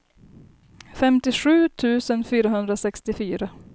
femtiosju tusen fyrahundrasextiofyra